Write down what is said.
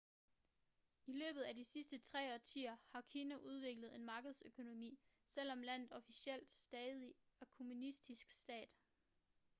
i løbet af de sidste tre årtier har kina udviklet en markedsøkonomi selvom landet officielt stadig er en kommunistisk stat